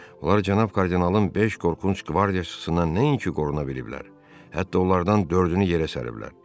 Onlar cənab kardinalın beş qorxunc qvardiyaçısından nəinki qoruna biliblər, hətta onlardan dördünü yerə səriblər.